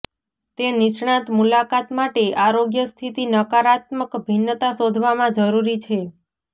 તે નિષ્ણાત મુલાકાત માટે આરોગ્ય સ્થિતિ નકારાત્મક ભિન્નતા શોધવામાં જરૂરી છે